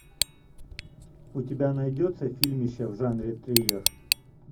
у тебя найдется фильмище в жанре триллер